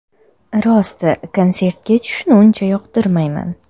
Rosti, konsertga tushishni uncha yoqtirmayman.